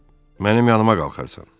Mənim yanıma qalxarsan?